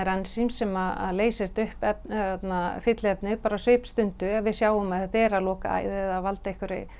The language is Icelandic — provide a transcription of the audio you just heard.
ensím sem leysir upp fylliefnið á svipstundu ef við sjáum að þetta er að loka æð eða valda